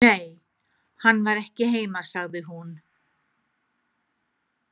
Nei, hann var ekki heima, sagði hún.